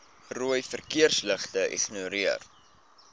rooi verkeersligte ignoreer